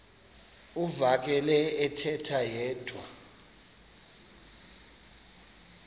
uvakele ethetha yedwa